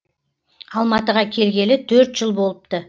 алматыға келгелі төрт жыл болыпты